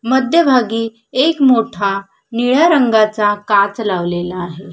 मध्यभागी एक मोठा निळ्या रंगाचा काच लावलेला आहे.